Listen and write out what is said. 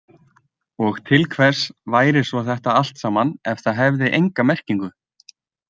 Og til hvers væri svo þetta allt saman ef það hefði enga merkingu?